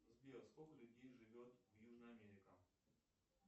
сбер сколько людей живет в южная америка